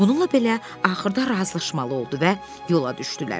Bununla belə, axırda razılaşmalı oldu və yola düşdülər.